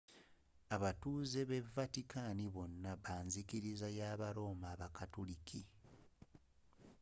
abatuze be vatican bona banzikiriza y aba roma abakatuliki